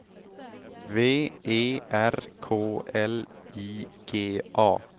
V E R K L I G A